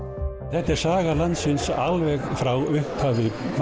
þetta er saga landsins alveg frá upphafi